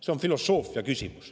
See on filosoofia küsimus.